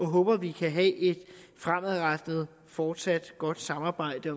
håber vi kan have et fremadrettet fortsat godt samarbejde